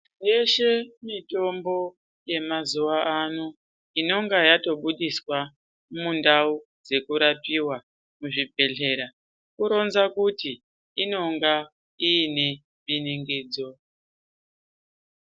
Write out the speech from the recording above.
Yeshe mitombo yamazuva ano inonga yatobudiswa mundau dzekurapiva muzvibhedhlera. Kuronza kuti inonga ine biningidzo.